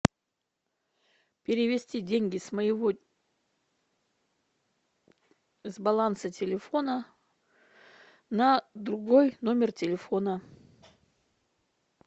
перевести деньги с моего с баланса телефона на другой номер телефона